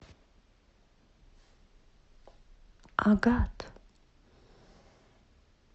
агат